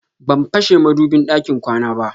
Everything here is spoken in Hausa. Ban fashe madubin ɗakin kwana ba.